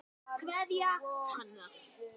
Kveðja, Hanna.